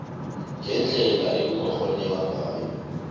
ngendlela okungakghoneka ngayo